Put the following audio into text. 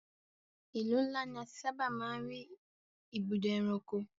Ìlú ńlá ní a ti sábà máa ń rí ibùdó ẹranko.